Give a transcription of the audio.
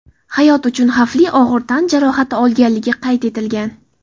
hayot uchun xavfli og‘ir tan jarohati olganligi qayd etilgan.